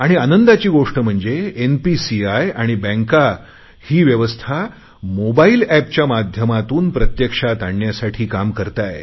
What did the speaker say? आनंदाची गोष्ट म्हणजे एनपीसीआय आणि बँका ही व्यवस्था मोबाईल एपच्या माध्यमातून प्रत्यक्षात आणण्यासाठी काम करत आहे